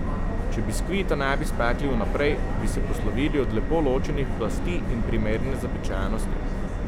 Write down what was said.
Če biskvita ne bi spekli vnaprej, bi se poslovili od lepo ločenih plasti in primerne zapečenosti.